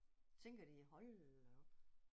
Tænker de hold da op?